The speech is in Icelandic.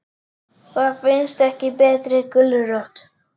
Það finnst ekki betri gulrót.